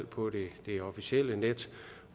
på det officielle net